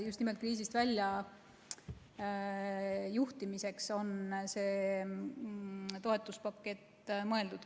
Just selleks, kriisist väljajuhtimiseks on see toetuspakett mõeldud.